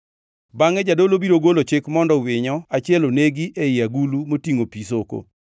Bangʼe jadolo biro golo chik mondo winyo achiel onegi ei agulu motingʼo pi soko.